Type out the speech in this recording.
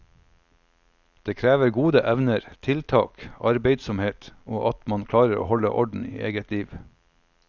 Det krever gode evner, tiltak, arbeidsomhet og at man klarer å holde orden i eget liv.